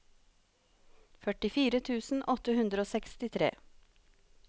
førtifire tusen åtte hundre og sekstitre